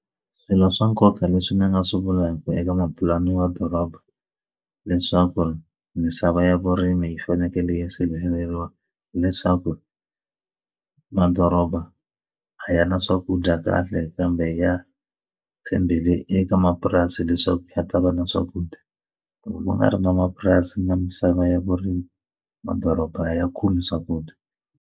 Swilo swa nkoka leswi ni nga swi vulaku eka mupulani wa doroba leswaku misava ya vurimi yi fanekele yi sirheleriwa hileswaku madoroba a ya na swakudya kahle kambe ya tshembele eka mapurasi leswaku a ta va na swakudya loko ku nga ri na mapurasi na misava ya vurimi madoroba a ya khomi swakudya.